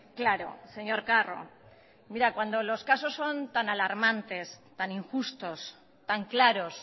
claro señor carro cuando los casos son tan alarmantes tan injustos tan claros